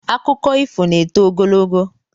Akụkọ ifo na-eto ogologo